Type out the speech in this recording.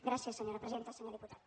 gràcies senyora presidenta senyor diputat